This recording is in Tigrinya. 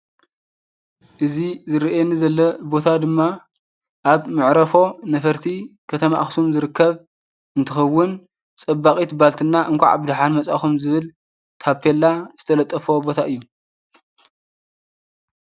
እዚ ዝርኤኒ ዘሎ ቦታ ድማ ኣብ ምዕረፎ ነፈርቲ ከተማ ኣኽሱም ዝርከብ እንትኸውን ጸባቒት ባልትና እንኳዕ ድኃን መጻእኹም ዝብል ካጰልላ ዝተለጠፈ ቦታ እዩ።